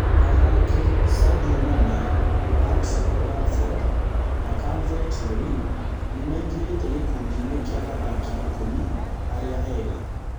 athaki Sadio Mane, Patrick Bamford na Calvert-Lewin nĩmaingĩrĩte gĩkundi inĩ kĩa athaki ikũmi arĩa ega